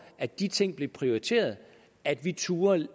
at de ting blev prioriteret at vi turde